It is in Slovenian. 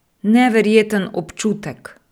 Neverjeten občutek!